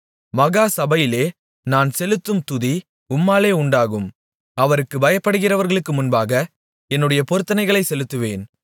மகா சபையிலே நான் செலுத்தும் துதி உம்மாலே உண்டாகும் அவருக்குப் பயப்படுகிறவர்களுக்கு முன்பாக என்னுடைய பொருத்தனைகளைச் செலுத்துவேன்